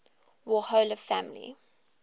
warhola family